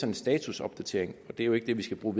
en statusopdatering og det er jo ikke det vi skal bruge